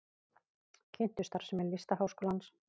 Kynntu starfsemi Listaháskólans